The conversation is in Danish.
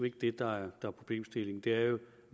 ikke det der er problemstillingen det er jo